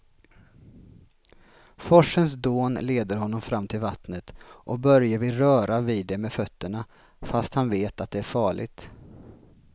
Forsens dån leder honom fram till vattnet och Börje vill röra vid det med fötterna, fast han vet att det är farligt.